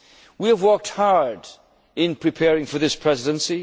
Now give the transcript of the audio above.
Union. We have worked hard in preparing for this